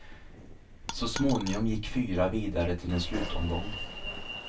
Så småningom gick fyra vidare till en slutomgång.